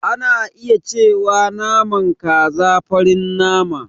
Ana iya cewa naman kaza farin nama.